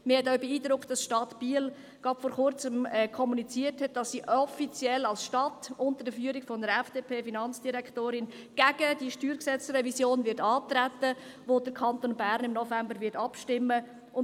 Mich hat auch beeindruckt, dass die Stadt Biel gerade vor Kurzem kommuniziert hat, dass sie offiziell als Stadt unter der Führung einer FDP-Finanzdirektorin gegen die StG-Revision antreten wird, über die im Kanton Bern im November abgestimmt wird.